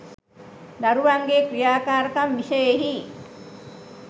දරුවන්ගේ් ක්‍රියාකාරකම් විෂයෙහි